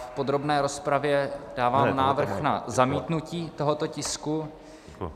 V podrobné rozpravě dávám návrh na zamítnutí tohoto tisku.